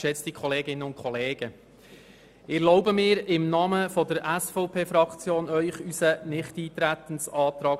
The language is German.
Ich begründe nun im Namen der SVP unseren Nichteintretensantrag.